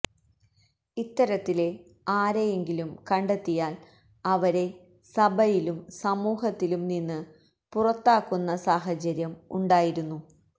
ഇത്തരത്തില് ആരെയെങ്കിലും കണ്ടെത്തിയാല് അവരെ സഭയിലും സമൂഹത്തിലും നിന്ന് പുറത്താക്കുന്ന സാഹചര്യം ഉണ്ടായിരുന്നു